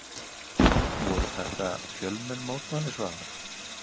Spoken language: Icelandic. Voru þetta fjölmenn mótmæli Svavar?